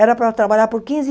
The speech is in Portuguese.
Era para trabalhar por quinze